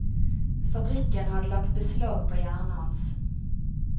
Fabrikken hadde lagt beslag på hjernen hans.